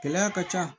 Gɛlɛya ka ca